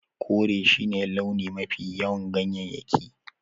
Kore shine launin mafiya yawan ganyayyakin